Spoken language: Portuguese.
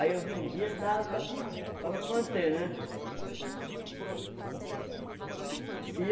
Aí eu vendia e dava para para me manter, né?